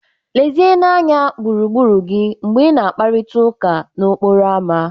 Lezienụ anya gburugburu gị mgbe ị na-akparịta ụka n'okporo ámá.